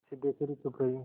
सिद्धेश्वरी चुप रही